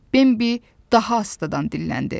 Bembi daha astadan dilləndi.